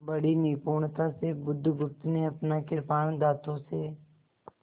बड़ी निपुणता से बुधगुप्त ने अपना कृपाण दाँतों से